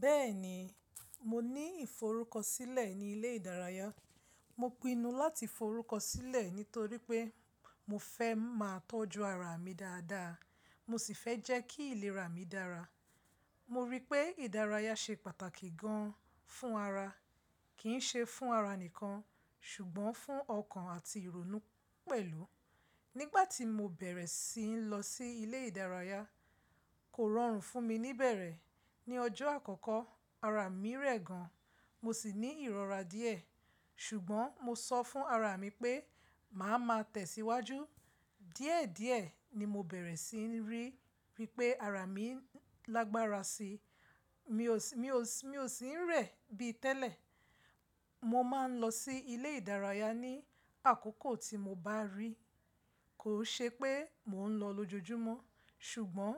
Bẹ́ẹ̀ni, mo ní ìforúkọsílẹ̀ ní ilé ìdárayá. Mo pinnu láti forúkọsílẹ̀ nítorí pé mo fẹ́ máa tọ́jú ara mi dáadáa, mo sì fẹ́ jẹ́ kí ìlera mi dára. Mo rí pé ìdárayá ṣe pàtàkì gan fún ara, kì í ṣe fún ara nìkan ṣùgbọ́n fún ọkàn àti ìrònú pẹ̀lú. Nígbà tí mo bẹ̀rẹ̀ sí n lọ sí ilé ìdárayá, kò rọrùn fún mi níbẹ̀rẹ̀. Ni ọjọ́ àkọ́kọ́ ara mi rẹ̀ gan, mo sì ní ìrora díẹ̀. Ṣùgbọ́n mo sọ fún ara mi pé màá máa tẹ̀síwájú. Díẹ̀díẹ̀ ni mo bẹ̀rẹ̀ sí ní rí wípé ara mi lágbára síi. Mi ò sí ń rẹ̀ bí tẹ́lẹ̀. Mo máa ń lọ sí ilé ìdárayá ní àkókò tí mo bá rí. Kò ṣe pé mò ń lọ lójoojúmọ́ ṣùgbọ́n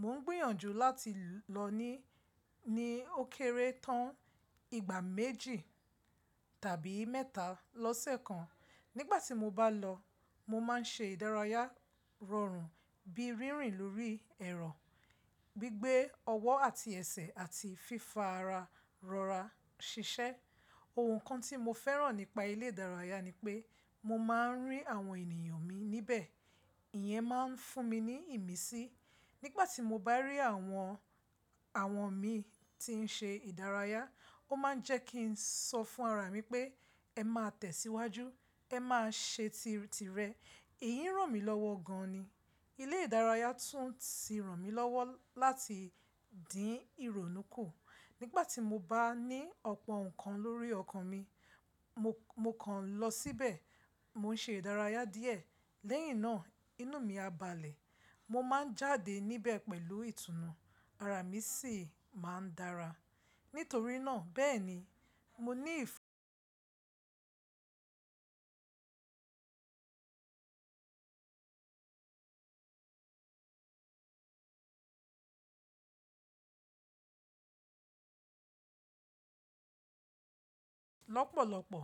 mò ń gbìyànjú láti lọ ní ní ó kéré tán ìgbà méjì tàbí mẹ́ta lọ́sẹ̀ kan. Nígbà tí mo bá lọ, mo máa ń ṣe ìdárayá rọrùn bí rínrìn lórí ẹ̀rọ, gbígbé ọwọ́ àti ẹsẹ̀ àti fífara rọra ṣiṣẹ́. Ohun kan tí mo fẹ́ràn nípa ilé ìdárayá ni pé mo máa ń rí àwọn ènìyàn mi níbẹ̀. Ìyẹn máa ń fún mi ní ìmísí. Nígbà tí mo bá rí àwọn àwọn mi tí ń ṣe ìdárayá, ó máa ń jẹ́ kí n sọ fún ara mi pé ẹ máa tẹ̀síwájú, ẹ máa ṣe tìrẹ. Èyí ràn mí lọ́wọ́ gan ni. Ilé ìdárayá tún ti ràn mí lọ́wọ́ láti dín ìrònú kù. Nígbà tí mo bá ní ọ̀pọ̀ nǹkan lórí ọkàn mi, mo kàn lọ síbẹ̀, mò ń ṣe ìdárayá díẹ̀ lẹ́yìn náà inú mi á balẹ̀. Mo máa ń jáde níbẹ̀ pẹ̀lú ìtùnú, ara mi sì máa ń dára. Nítorí náà bẹ́ẹ̀ni mo ní ìf lọ́pọ̀lọpọ̀